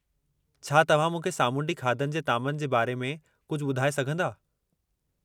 छा तव्हां मूंखे सामूंडी खाधनि जे तामनि जे बारे में कुझु ॿुधाए सघंदा?